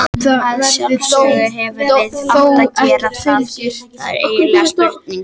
Að sjálfsögðu hefðum við átt að gera það, það er engin spurning.